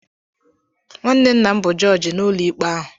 Nwanne nna m bụ jọọjị n'ụlọikpe ahụ.